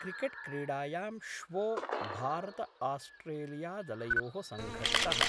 क्रिकेट्क्रीडायां श्वो भारतआस्ट्रेलियादलयो: संघट्टः।